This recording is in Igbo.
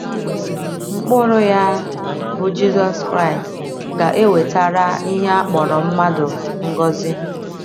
Mkpụrụ ya, bụ́ Jizọs Kraịst, ga - ewetara ihe a kpọrọ mmadụ ngọzi